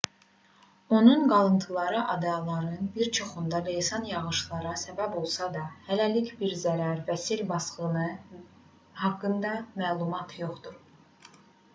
onun qalıntıları adaların bir çoxunda leysan yağışlara səbəb olsa da hələlik bir zərər və sel basqını haqqında məlumat yoxdur